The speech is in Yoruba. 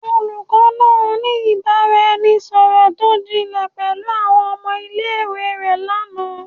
Olukọ naa ni ibaraẹnisọrọ to jinle pẹlu awọn ọmọ ile-iwe rẹ lana